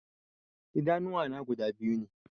Idanuwa na guda biyu ne